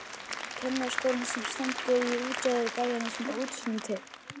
Kennaraskólann sem stendur í útjaðri bæjarins með útsýni til